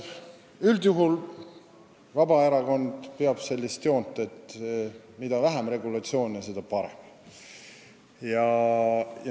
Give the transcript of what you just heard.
Üldjuhul peab Vabaerakond sellist joont, et mida vähem regulatsioone, seda parem.